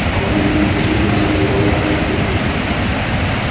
папуль решительно сказала я